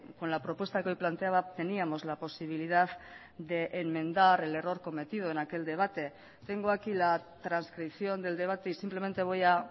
con la propuesta que hoy planteaba teníamos la posibilidad de enmendar el error cometido en aquel debate tengo aquí la transcripción del debate y simplemente voy a